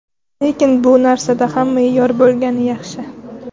Lekin bu narsada ham me’yor bo‘lgani yaxshi.